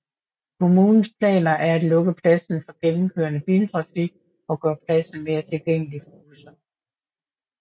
Kommunens planer er at lukke pladsen for gennemkørende biltrafik og gøre pladsen mere tilgængelig for busser